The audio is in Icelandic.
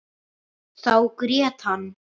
Þá grét hann.